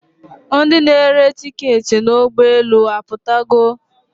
Ndi na-ere tiketị n'ụgbọelu aputogo?